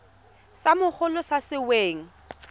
sa mogolo sa se weng